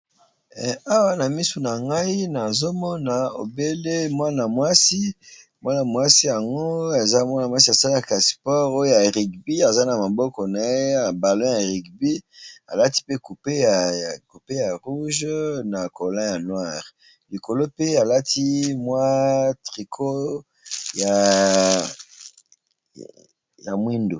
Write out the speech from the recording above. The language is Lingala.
Awa na misu na ngai nazomona obele mwana mwasi mwana-mwasi yango eza mwana mwasi ya salakasport oyo ya rugby aza na maboko na ye balo ya rugby alati pe cupe ya rouge na colon ya noire likolo pe alati mwa triko ya mwindu.